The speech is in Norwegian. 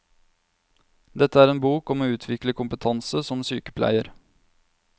Dette er en bok om å utvikle kompetanse som sykepleier.